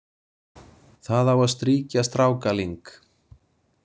Það á að strýkja strákaling,